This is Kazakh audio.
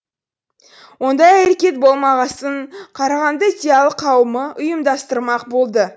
ондай әрекет болмағасын қарағанды зиялы қауымы ұйымдастырмақ болды